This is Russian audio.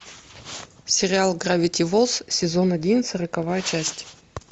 сериал гравити фолз сезон один сороковая часть